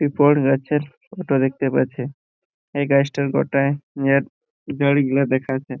Paper আছে এটা দেখতে পাচ্ছি | এই গাছটার গোটাই গুলো দেখাছে।